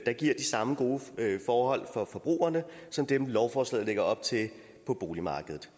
der giver de samme gode forhold for forbrugerne som dem lovforslaget lægger op til på boligmarkedet